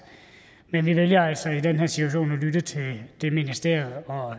men vi vælger altså i den her situation at lytte til hvad det ministerium